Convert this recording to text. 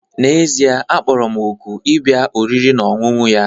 N'ezie, a kpọrọ m òkù ịbịa oriri na ọṅụṅụ ya